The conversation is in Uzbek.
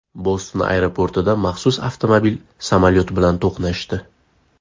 Boston aeroportida maxsus avtomobil samolyot bilan to‘qnashdi.